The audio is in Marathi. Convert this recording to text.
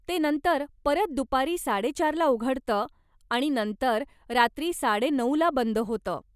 ते नंतर परत दुपारी साडे चार ला उघडतं आणि नंतर रात्री साडे नऊ ला बंद होतं.